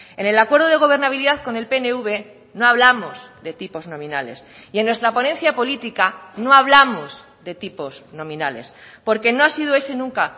en el acuerdo de gobernabilidad con el pnv no hablamos de tipos nominales y en nuestra ponencia política no hablamos de tipos nominales porque no ha sido ese nunca